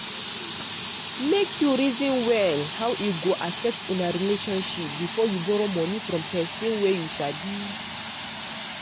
make you reason well how e go affect una relationship before you borrow money from person wey you sabi.